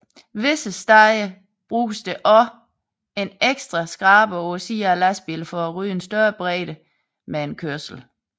Visse steder benyttes også en ekstra skraber på siden af lastbilen for at rydde en større bredde med en kørsel